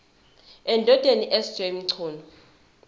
endodeni sj mchunu